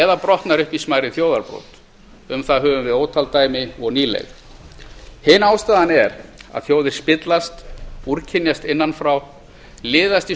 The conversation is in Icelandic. eða brotnar upp í smærri þjóðarbrot um það höfum við ótal dæmi og nýleg hin ástæðan er að þjóðir spillast úrkynjast innan frá liðast í